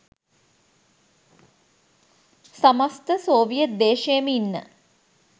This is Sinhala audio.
සමස්ත සෝවියට් දේශයේම ඉන්න